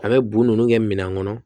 A bɛ bo nunnu kɛ minɛn kɔnɔ